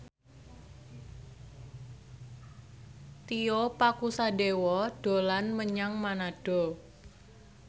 Tio Pakusadewo dolan menyang Manado